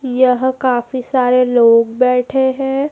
यह काफी सारे लोग बैठे है।